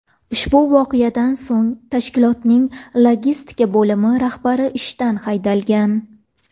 Ushbu voqeadan so‘ng tashkilotning logistika bo‘limi rahbari ishdan haydalgan.